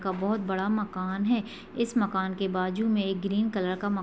का बहुत बड़ा मकान है इस मकान के बाजू में एक ग्रीन कलर का मा --